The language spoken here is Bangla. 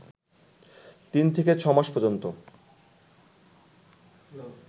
তিন থেকে ছ'মাস পর্যন্ত